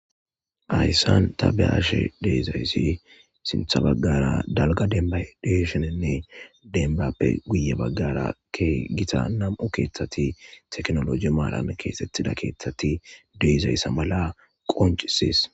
Hayssan ta be ashe deezayssi sintha baggara dalga denba desheninne denbappe guye baggarakke gita nam7u keeththati teknoloji maalame keesettida keeththati deezayssa mala qoncisees.